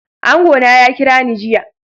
Angona ya kirani jiya.